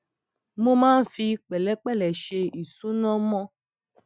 mo máa ń fi pẹlẹpẹlẹ ṣe ìṣúná mo